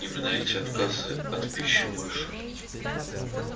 именно эти отказы от пищи больше